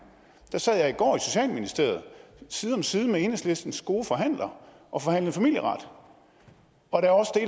der sad jeg i går i socialministeriet side om side med enhedslistens gode forhandler og forhandlede familieret og der